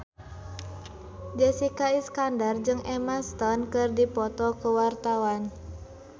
Jessica Iskandar jeung Emma Stone keur dipoto ku wartawan